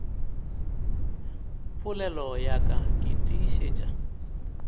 polelo ya ka ke tiišetša